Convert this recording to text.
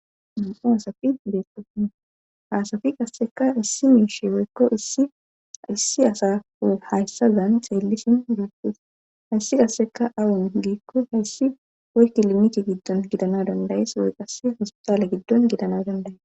Nam'u deetto haasafi qasseka issi miishe weykko issi asafu hayssazan xeellisin duutus hayssi qasseka awun giikko hayssi woy kilimite giddon gidana dandayes woy qase hospitale giddon gidana dandaye